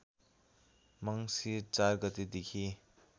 मङ्सिर ४ गतेदेखि